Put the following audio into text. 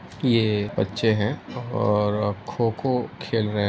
ये बच्चे हैं और खो-खो खेल रहे --